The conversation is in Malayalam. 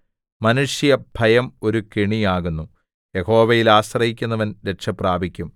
മാനുഷഭയം ഒരു കെണി ആകുന്നു യഹോവയിൽ ആശ്രയിക്കുന്നവൻ രക്ഷപ്രാപിക്കും